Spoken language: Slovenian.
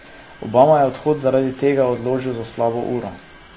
Obama je odhod zaradi tega odložil za slabo uro.